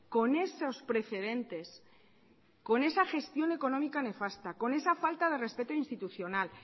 con esos precedentes con esa gestión económica nefasta con esa falta de respeto institucional